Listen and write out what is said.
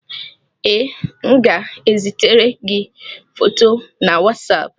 Ee, m ga-ezitere gị foto na Wasapụ